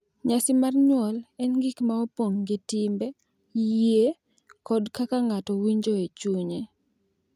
Nyasi mar nyuol en gik ma opong’ gi timbe, yie, kod kaka ng’ato winjo e chunye.